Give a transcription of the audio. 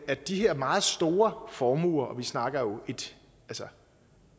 at de her meget store formuer og vi snakker jo et